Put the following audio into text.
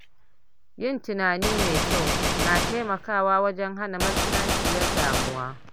Yin tunani mai kyau na taimakawa wajen hana matsananciyar damuwa.